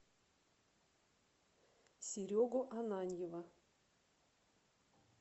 серегу ананьева